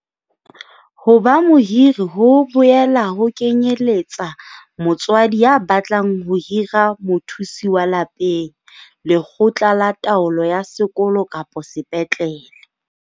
Ho ba mohiri ho boela ho kenyeletsa motswadi ya batlang ho hira mothusi wa lapeng, lekgotla la taolo ya sekolo kapo sepetlele.